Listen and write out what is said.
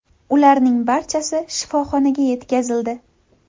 Ularning barchasi shifoxonaga yetkazildi.